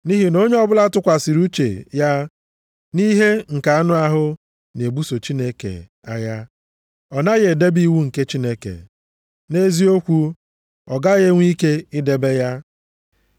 Nʼihi na onye ọbụla tụkwasịrị uche ya nʼihe nke anụ ahụ na-ebuso Chineke agha, ọ naghị edebe iwu nke Chineke. Nʼeziokwu, ọ gaghị enwe ike idebe ya.